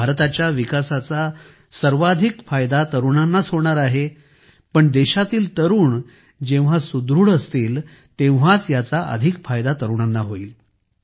भारताच्या विकासाचा सर्वाधिक फायदा तरुणांनाच होणार आहे पण देशातील तरुण जेव्हा सुदृढ असतील तेव्हाच याचा अधिक फायदा तरुणांना होईल